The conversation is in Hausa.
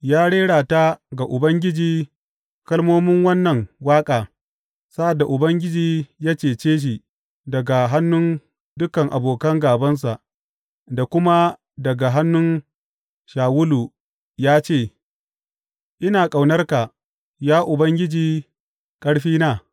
Ya rera ta ga Ubangiji kalmomin wannan waƙa sa’ad da Ubangiji ya cece shi daga hannun dukan abokan gābansa da kuma daga hannun Shawulu, ya ce, Ina ƙaunarka, ya Ubangiji, ƙarfina.